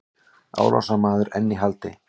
Árásarmaður enn í haldi